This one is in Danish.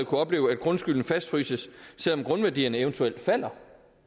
kunne opleve at grundskylden fastfryses selv om grundværdierne eventuelt falder